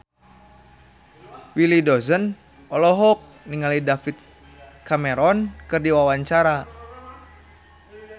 Willy Dozan olohok ningali David Cameron keur diwawancara